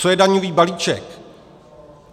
Co je daňový balíček?